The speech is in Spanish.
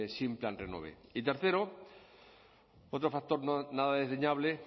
sin plan renove y tercero otro factor nada desdeñable